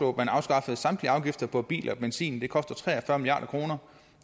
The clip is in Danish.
at man afskaffede samtlige afgifter på biler og benzin det koster tre og fyrre milliard kr